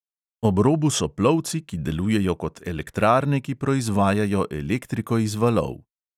Ob robu so plovci, ki delujejo kot elektrarne, ki proizvajajo elektriko iz valov.